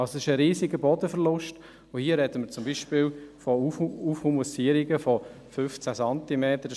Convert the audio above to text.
Es ist ein riesiger Bodenverlust, und hier sprechen wir zum Beispiel von Aufhumusierungen von 15 Zentimetern.